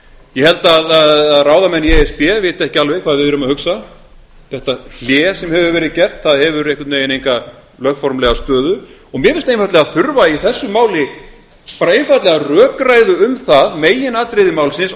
ég held að ráðamenn í e s b viti ekki alveg hvað við erum að hugsa þetta hlé sem hefur verið gert það hefur einhvern veginn enga lögformlega stöðu og mér finnst þurfa í þessu máli bara einfaldlega rökræðu um það meginatriði málsins